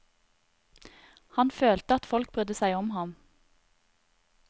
Han følte at folk brydde seg om ham.